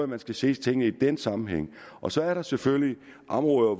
man skal se tingene i den sammenhæng og så er der selvfølgelig områder